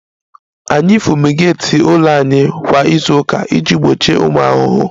Anyị fumigeeti ụlọ anyị kwa izu ụka iji gbochie ụmụ ahụhụ